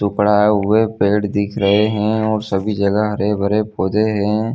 टुकड़ा हुए पेड़ दिख रहे है। और सभी जगह हरे-भरे पौधे है।